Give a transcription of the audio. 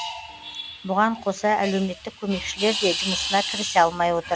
бұған қоса әлеуметтік көмекшілер де жұмысына кірісе алмай отыр